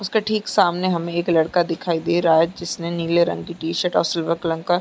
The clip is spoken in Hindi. उसके ठीक सामने हमे एक लड़का दिखाई दे रहा है जिसने नीले रंग की टी-शर्ट और सिल्वर कलर का --